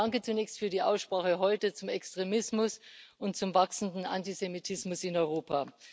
Danke zunächst für die Aussprache heute zum Extremismus und zum wachsenden Antisemitismus in Europa.